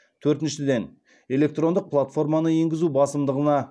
төртіншіден электрондық платформаны енгізу басымдығына